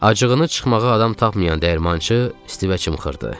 Acığını çıxmağa adam tapmayan dəyirmançı Stivə xırtdı.